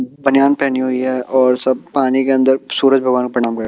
बनियान पहनी हुई है और सब पानी के अंदर सूरज भगवान को प्रणाम करें।